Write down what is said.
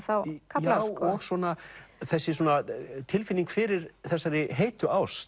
þá kafla sko og svona þessi tilfinning fyrir þessari heitu ást